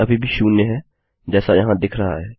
यह अभी भी शून्य है जैसा यहाँ दिख रहा है